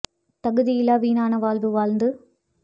தகுதியிலா வீணான வாழ்வு வாழ்ந்து